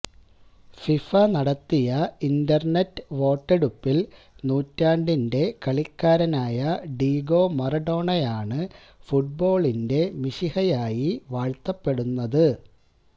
FIFA നടത്തിയ internet വോട്ടെടുപ്പിൽ നൂറ്റാണ്ടിന്റെ കളിക്കാരനായ ഡീഗോ മാറഡോണയാണ് ഫുട്ബോളിന്റെ മിശിഹയായി വാഴ്ത്തപ്പെടുന്നത്